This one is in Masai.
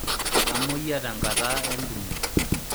Etamoyia tenkata entumo.